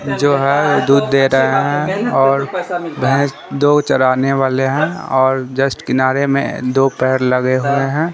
जो है वो दूध दे रहे हैं और भैंस दो चराने वाले हैं और जस्ट किनारे में दो पैर लगे हुए हैं।